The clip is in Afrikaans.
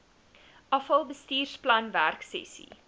afal bestuursplan werksessies